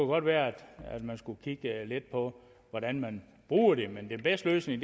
godt være at man skulle kigge lidt på hvordan man bruger det men den bedste løsning